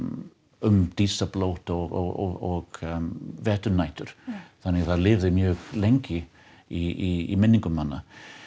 um dísarblót og veturnætur þannig að það lifði mjög lengi í minningum manna